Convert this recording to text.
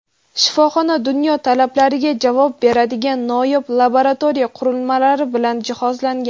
Shifoxona dunyo talablariga javob beradigan noyob laboratoriya qurilmalari bilan jihozlangan.